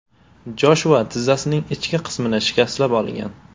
Joshua tizzasining ichki qismini shikastlab olgan.